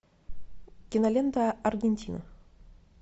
кинолента аргентина